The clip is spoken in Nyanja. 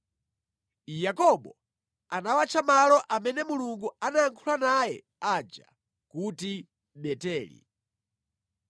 Yakobo anawatcha malo amene Mulungu anayankhula naye aja kuti Beteli.